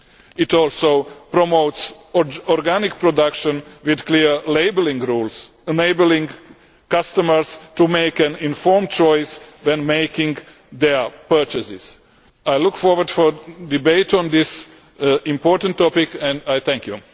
It also promotes organic production with clear labelling rules, enabling customers to make an informed choice when making their purchases. I look forward to a debate on this important topic and I thank you.